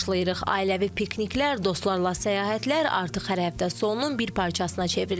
Ailəvi pikniklər, dostlarla səyahətlər artıq hər həftə sonunun bir parçasına çevrilir.